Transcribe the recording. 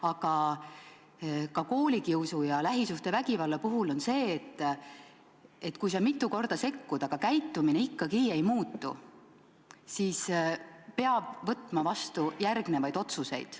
Aga ka koolikiusu ja lähisuhtevägivalla puhul peaks olema nii, et kui mitu korda on sekkutud, aga käitumine ikkagi ei muutu, siis peab võtma vastu järgmised otsused.